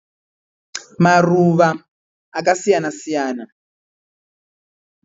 Maruva akasiyana siyana